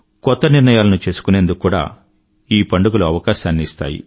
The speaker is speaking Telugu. కొత్త నిర్ణయాలను చేసుకునేందుకు కూడా ఈ పండుగలు అవకాశాన్ని ఇస్తాయి